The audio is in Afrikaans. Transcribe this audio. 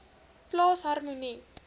plaas harmonie